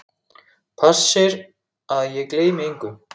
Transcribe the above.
Passir að ég gleymi engu.